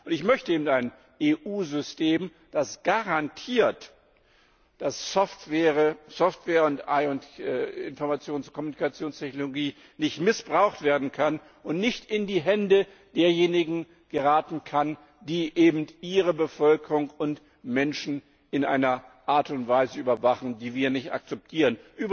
Ich möchte aber eben ein EU System, das garantiert, dass Software und Informations und Kommunikationstechnologie nicht missbraucht werden können und nicht in die Hände derjenigen geraten können, die ihre Bevölkerung und Menschen in einer Art und Weise überwachen, die wir nicht akzeptieren.